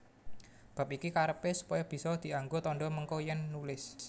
Bab iki karepé supaya bisa dianggo tandha mengko yèn nulis